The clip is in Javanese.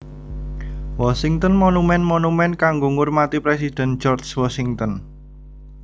Washington Monument monumen kanggo ngurmati Presiden George Washington